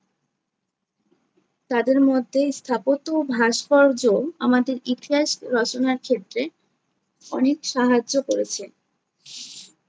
তাদের মধ্যে স্থাপত্য ও ভাস্কর্য আমাদের ইতিহাস রচনার ক্ষেত্রে অনেক সাহায্য করেছে